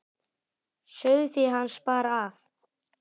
Sauðfé hans bar af.